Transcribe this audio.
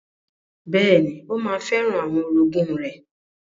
Bẹ́ẹ̀ni, ó ma fẹ́ràn àwọn orogún rẹ̀.